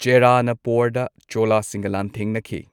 ꯄꯣꯔꯗ ꯄ꯭ꯣꯔꯗ ꯆꯣꯂꯥꯁꯤꯡꯒ ꯂꯥꯟꯊꯦꯡꯅꯈꯤ꯫